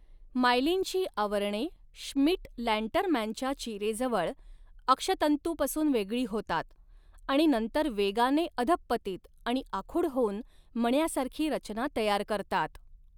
मायलिनची आवरणे श्मिट लँटरमॅनच्या चिरेजवळ अक्षतंतुपासून वेगळी होतात आणि नंतर वेगाने अधहपतित आणि आखूड होऊन मण्यासारखी रचना तयार करतात.